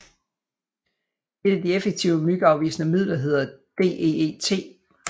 Et af de effektive myggeafvisende midler hedder DEET